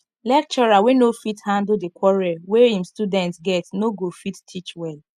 lecturer wey no fit handle di quarrel wey im student get no go fit teach well